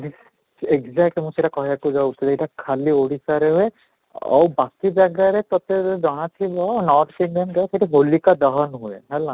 exact ମୁଁ ସେଇଟା କହିବାକୁ ଯାଉଥିଲି ଏଇଟା ଖାଲି ଓଡ଼ିଶାରେ ହୁଏ, ଆଉ ବାକି ଜାଗାରେ ସତରେ ଜଣା ଥିବ north Indian ରେ ସେଠି ହୋଲିକା ଦୋହାନ ହୁଏ ହେଲା